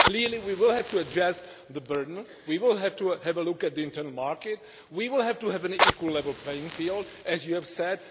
Clearly, we will have to address the burden. We will have to have a look at the internal market and we will have to have an equal level playing field, as you have said.